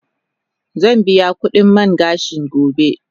Zan biya kudin man gashin gobe.